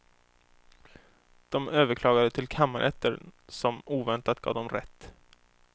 De överklagade till kammarrätten som oväntat gav dem rätt.